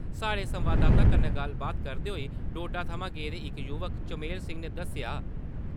साढ़े संवाददाता कन्नै गल्लबात करदे होई डोडा थमां गेदे इक युवा चमेल सिंह ने दस्सेआ।